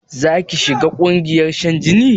Zaki shiga ƙungiyar shan jini?